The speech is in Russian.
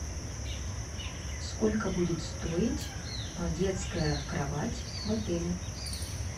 сколько будет стоить детская кровать в отеле